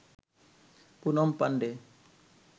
Poonam Pandey